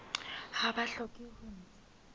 ha ba hloke ho ntsha